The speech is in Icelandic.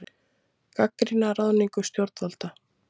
Gagnrýna ráðningu stjórnvalda